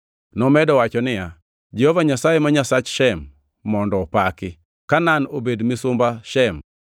Nomedo wacho niya, “Jehova Nyasaye ma Nyasach Shem mondo opaki! Kanaan obed misumba Shem.